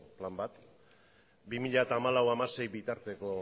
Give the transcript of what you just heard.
plan bat bi mila hamalau bi mila hamasei bitarteko